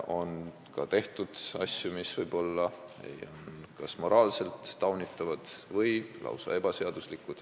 On ka tehtud asju, mis võivad olla kas moraalselt taunitavad või lausa ebaseaduslikud.